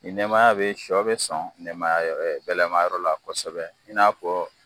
Ni nɛmaya bɛ ye sɔ bɛ sɔn nɛmaya gɛlɛma yɔrɔ la kosɛbɛ i n'a fɔ